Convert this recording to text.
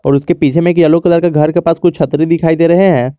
और उसके पीछे में एक यलो कलर के घर के पास कुछ छतरी दिखाई दे रहे है।